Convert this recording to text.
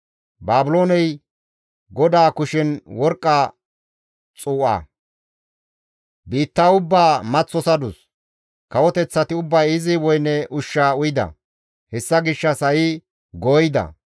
Baabilooney GODAA kushen worqqa xuu7a; biitta ubbaa maththosadus; kawoteththati ubbay izi woyne ushshaa uyida; hessa gishshas ha7i gooyida.